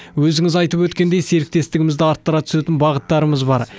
өзіңіз айтып өткендей серіктестігімізді арттыра түсетін бағыттарымыз бар